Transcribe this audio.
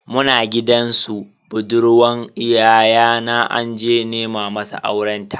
Muna gidan su budurwan yayana anje nema masa aurenta.